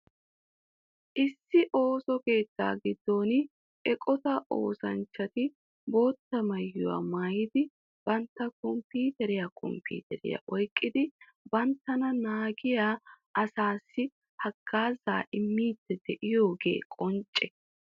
Issi ooso keetta giddon eqotaa oosanchati bootta maayuwaa maayidi bantta komppiteriya komppiteriya oyqqidi banttana naagiya asas hagaazzaa immidi de'iyoogee qoncce.